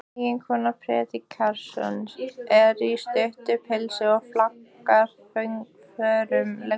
Eiginkona predikarans er í stuttu pilsi og flaggar fögrum leggjum.